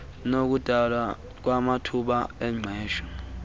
nokudalwa kwamathuba engqesho